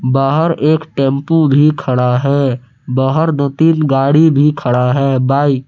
बाहर एक टेंपू भी खड़ा है बाहर दो तीन गाड़ी भी खड़ा है बाइक --